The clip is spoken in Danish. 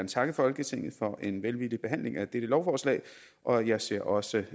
takke folketinget for en velvillig behandling af dette lovforslag og jeg ser også